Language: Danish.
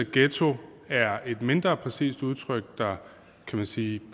ghetto er et mindre præcist udtryk der kan man sige